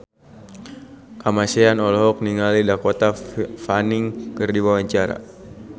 Kamasean olohok ningali Dakota Fanning keur diwawancara